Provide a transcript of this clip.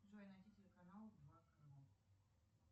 джой найди телеканал два канал